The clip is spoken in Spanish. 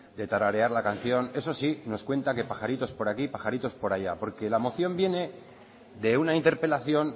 de tararearla la canción eso sí nos cuenta que pajaritos por aquí pajaritos por allá porque la moción viene de una interpelación